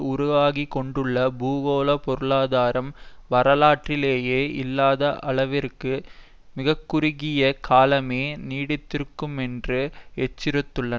உருவாகிக்கொண்டுள்ள பூகோள பொருளாதாரம் வரலாற்றிலேயே இல்லாத அளவிற்கு மிகக்குறுகிய காலமே நீடித்திருக்குமென்று எச்சரித்துள்ளார்